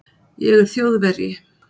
Ég er Þjóðverji!